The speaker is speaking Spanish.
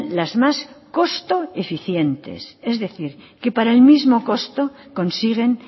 las más costo eficientes es decir que para el mismo costo consiguen